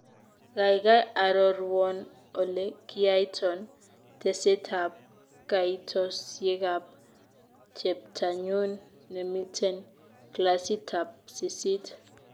Kaigai arorwon ole kiyaito tesetab kaitosyekab cheptanyun nemiten klasitab sisiit.